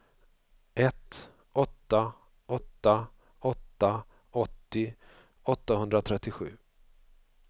ett åtta åtta åtta åttio åttahundratrettiosju